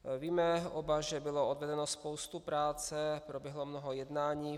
Víme oba, že bylo odvedeno spousta práce, proběhlo mnoho jednání.